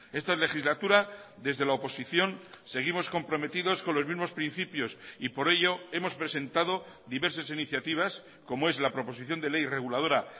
esta legislatura desde la oposición seguimos comprometidos con los mismos principios y por ello hemos presentado diversas iniciativas como es la proposición de ley reguladora